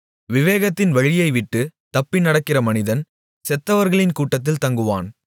விவேகத்தின் வழியைவிட்டுத் தப்பி நடக்கிற மனிதன் செத்தவர்களின் கூட்டத்தில் தங்குவான்